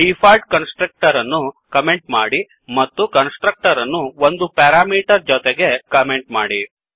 default constructor ಅನ್ನು comment ಮಾಡಿ ಮತ್ತು ಕನ್ಸ್ಟ್ರಕ್ಟರ್ ಅನ್ನು ಒಂದು ಪೆರಾಮೀಟರ್ ಜೊತೆಗೆ ಕಮೆಂಟ್ ಮಾಡಿ